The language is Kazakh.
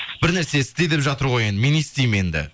бірнәрсе істе деп жатыр ғой енді мен не істеймін енді